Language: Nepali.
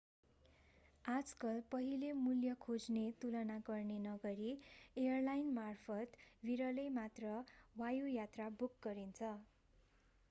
आजकल पहिले मूल्य खोज्ने तुलना गर्ने नगरी एयरलाइनमार्फत विरलै मात्र वायुयात्रा बुक गरिन्छ